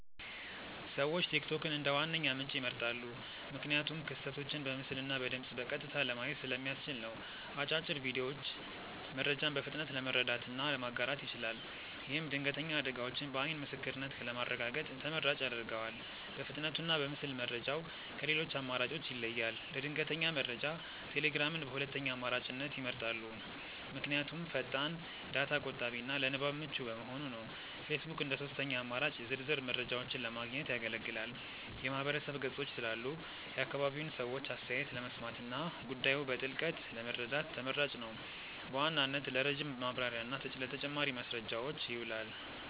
ሰዎች ቲክቶክን እንደ ዋነኛ ምንጭ ይመርጣሉ። ምክንያቱም ክስተቶችን በምስልና በድምፅ በቀጥታ ለማየት ስለሚያስችል ነው። አጫጭር ቪዲዮዎቹ መረጃን በፍጥነት ለመረዳትና ለማጋራት ይችላል። ይህም ድንገተኛ አደጋዎችን በዓይን ምስክርነት ለማረጋገጥ ተመራጭ ያደርገዋል። በፍጥነቱና በምስል መረጃው ከሌሎች አማራጮች ይለያል። ለድንገተኛ መረጃ ቴሌግራምን በሁለተኛ አማራጭነት ይመርጣሉ። ምክንያቱም ፈጣን፣ ዳታ ቆጣቢና ለንባብ ምቹ በመሆኑ ነው። ፌስቡክ እንደ ሦስተኛ አማራጭ ዝርዝር መረጃዎችን ለማግኘት ያገለግላል። የማህበረሰብ ገጾች ስላሉ የአካባቢውን ሰዎች አስተያየት ለመስማትና ጉዳዩን በጥልቀት ለመረዳት ተመራጭ ነው። በዋናነት ለረጅም ማብራሪያና ለተጨማሪ ማስረጃዎች ይውላል።